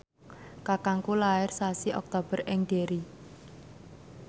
kakangku lair sasi Oktober ing Derry